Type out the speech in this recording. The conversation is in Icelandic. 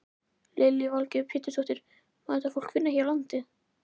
Lillý Valgerður Pétursdóttir: Má þetta fólk vinna hér á landi?